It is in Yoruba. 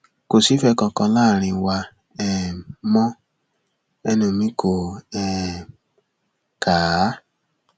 kò sífẹẹ kankan láàrín wa um mọ ẹnu mi kò um kà á